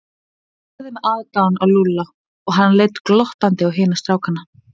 Hún horfði með aðdáun á Lúlla og hann leit glottandi á hina strákana.